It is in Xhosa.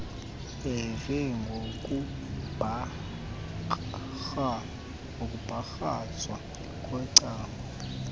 beva ngokumbakrazwa kwecango